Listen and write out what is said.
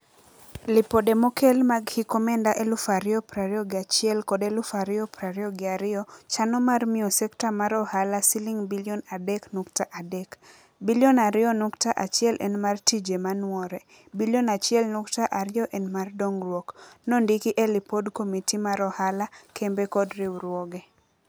"Lipode mokel mag hik omenda eluf ario prario gi achiel kod eluf ario prario gi ario chano mar mio sekta mar ohala siling bilion adek nukta adek. Bilion ario nukta achiel en mar tije manuore. Bilion achiel nukta ario en mar dongruok." Nondiki e lipod komiti mar ohala, kembe kod riwruoge.